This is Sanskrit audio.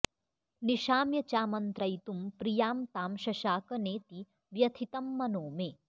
निशाम्य चामन्त्रयितुं प्रियां तां शशाक नेति व्यथितं मनो मे